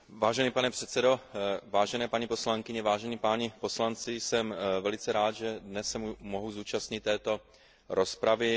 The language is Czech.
Vážený pane předsedo, vážené paní poslankyně, vážení páni poslanci, jsem velice rád, že se dnes mohu zúčastnit této rozpravy.